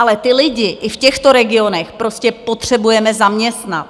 Ale ty lidi i v těchto regionech prostě potřebujeme zaměstnat.